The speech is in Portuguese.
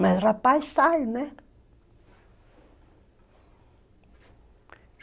Mas rapaz, sai, né?